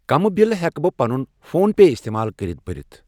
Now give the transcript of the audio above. کَمہٕ بِلہٕ ہٮ۪کہٕ بہٕ پنُن فون پے استعمال کٔرِتھ بٔرِتھ؟